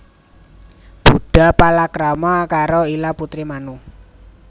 Budha palakrama karo Ila putri Manu